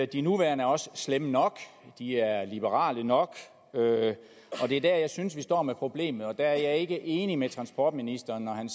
de nuværende er også slemme nok de er liberale nok og det er der jeg synes vi står med problemet jeg er ikke enig med transportministeren